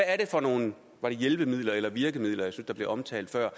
er for nogle hjælpemidler eller virkemidler jeg synes der blev omtalt før